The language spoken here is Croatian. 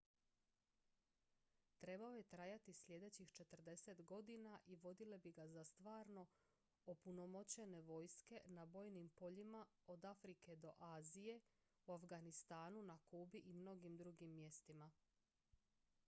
trebao je trajati sljedećih 40 godina i vodile bi ga za stvarno opunomoćene vojske na bojnim poljima od afrike do azije u afganistanu na kubi i mnogim drugim mjestima